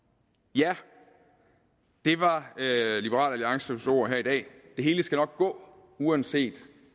ja det var liberal alliances ord her i dag det hele skal nok gå uanset